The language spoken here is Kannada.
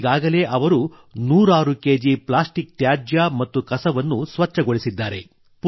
ಈಗಾಗಲೇ ಅವರು ನೂರಾರು ಕೆಜಿ ಪ್ಲಾಸ್ಟಿಕ್ ತ್ಯಾಜ್ಯ ಮತ್ತು ಕಸವನ್ನು ಸ್ವಚ್ಛಗೊಳಿಸಿದ್ದಾರೆ